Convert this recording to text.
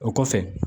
O kɔfɛ